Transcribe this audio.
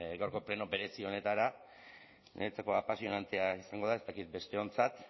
gaurko pleno berezi honetara niretzako apasionantea izango da ez dakit besteontzat